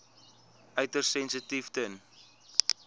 uiters sensitief ten